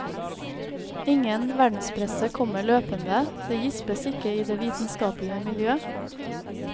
Ingen verdenspresse kommer løpende, det gispes ikke i det vitenskapelige miljø.